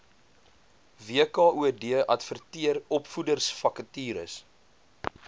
wkod adverteer opvoedersvakatures